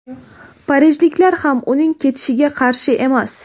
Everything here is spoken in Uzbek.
Parijliklar ham uning ketishiga qarshi emas;.